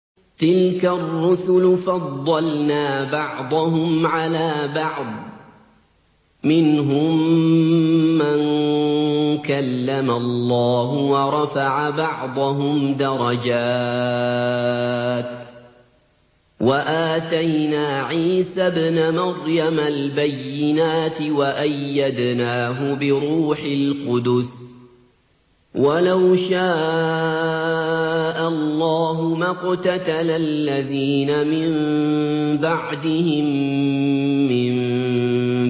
۞ تِلْكَ الرُّسُلُ فَضَّلْنَا بَعْضَهُمْ عَلَىٰ بَعْضٍ ۘ مِّنْهُم مَّن كَلَّمَ اللَّهُ ۖ وَرَفَعَ بَعْضَهُمْ دَرَجَاتٍ ۚ وَآتَيْنَا عِيسَى ابْنَ مَرْيَمَ الْبَيِّنَاتِ وَأَيَّدْنَاهُ بِرُوحِ الْقُدُسِ ۗ وَلَوْ شَاءَ اللَّهُ مَا اقْتَتَلَ الَّذِينَ مِن بَعْدِهِم مِّن